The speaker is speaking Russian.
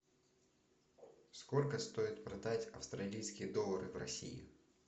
сколько стоит продать австралийские доллары в россии